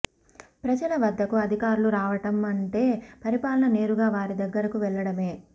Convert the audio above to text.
ప్రజల వద్దకు అధికారులు రావడం అంటే పరిపాలన నేరుగా వారి దగ్గరకు వెళ్లడమే